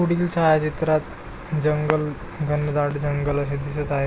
पुढील छायाचित्रात जंगल घनदाट जंगल असे दिसत आहे.